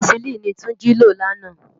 Pènèsilini ni Tunji ló làná